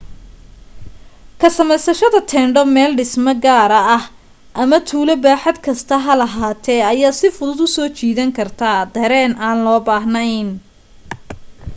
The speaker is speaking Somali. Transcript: ka samaysashada teendho meel dhisme gaara ah ama tuulo baaxad kasta ha lahaatee ayaa si fuduud u soo jiidan karta dareen aan loo baahnayn